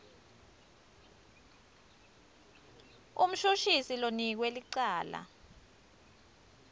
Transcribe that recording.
umshushisi lonikwe licala